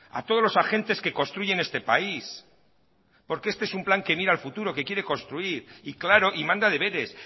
a todos los agentes que construyen este país porque este es un plan que mira al futuro que quiere construir y claro y manda deberes